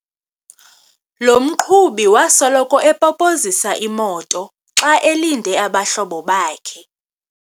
Lo mqhubi wasoloko epopozisa imoto xa elinde abahlobo bakhe.